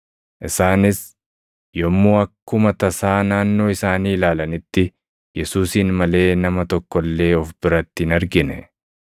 Isaanis yommuu akkuma tasaa naannoo isaanii ilaalanitti Yesuusin malee nama tokko illee of biratti hin argine.